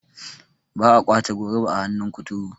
ba a kwace goruba a hannun kuturu